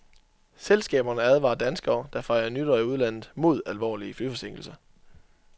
Selskaberne advarer danskere, der fejrer nytår i udlandet, mod alvorlige flyforsinkelser.